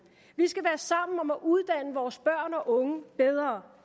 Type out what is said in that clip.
vi skal være sammen om at uddanne vores børn og unge bedre